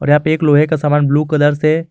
और यहां पे एक लोहे का सामान ब्लू कलर से--